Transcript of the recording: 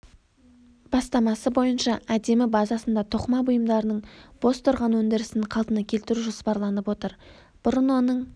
бастамасы бойынша әдемі базасында тоқыма бұйымдарының бос тұрған өндірісін қалпына келтіру жоспарланып отыр бұрын оның